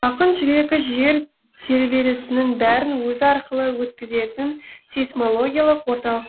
ақын жүрегі жер тербелісінің бәрін өзі арқылы өткізетін сейсмологиялық орталық